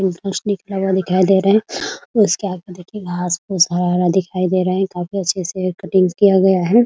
उसके आगे दिखिए घास पूस हरा हरा दिखाई दे रहा है । काफी अच्छे से कटिंग्स किया गया है ।